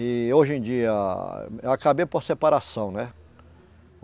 E hoje em dia, eu acabei por separação, né?